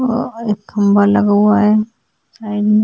एक खम्भा लगा हुआ है साइड में --